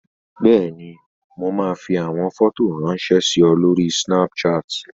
Bẹ́ẹ̀ni, mo máa fi àwọn fọ́tò ráńṣẹ́ sí ọ lórí Snapchat.